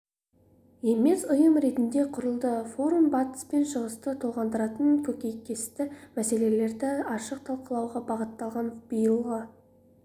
емес ұйым ретінде құрылды форум батыс пен шығысты толғандыратын көкейкесті мәселелерді ашық талқылауға бағытталған биылғы